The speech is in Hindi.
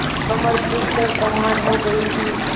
कमर झुक कर कमान हो गयी थी